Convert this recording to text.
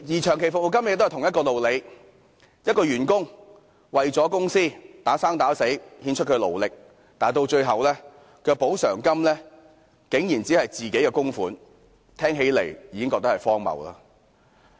長期服務金的情況亦然，員工為公司默默耕耘，獻出他的勞力，但最後所得的補償金竟然只餘自己供款的部分，聽起來也覺荒謬。